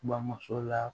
Bamuso la